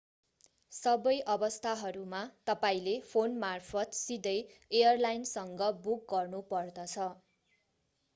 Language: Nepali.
सबै अवस्थाहरूमा तपाईंले फोन मार्फत सिधै एयरलाइन्सँग बुक गर्नु पर्दछ